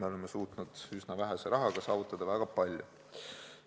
Me oleme suutnud üsna vähese rahaga saavutada väga palju.